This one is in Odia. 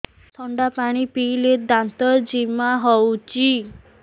ଥଣ୍ଡା ପାଣି ପିଇଲେ ଦାନ୍ତ ଜିମା ହଉଚି